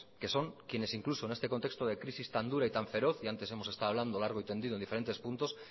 que son quienes incluso en este contexto de crisis tan dura y tan feroz y antes hemos estado hablando largo y tendido en diferentes puntos